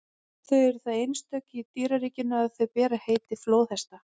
þau eru það einstök í dýraríkinu að þau bera heiti flóðhesta